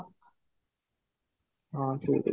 ହଁ ଠିକ ଅଛି